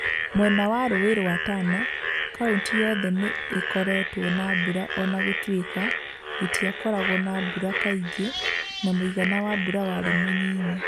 mwena wa ru͂u͂i͂ rwa Tana, kaunti yothe ni͂ i͂koretwo na mbura o na gu͂tui͂ka itiakoragwo na mbura kaingi͂ na mu͂igana wa mbura wari͂ mu͂nyinyi.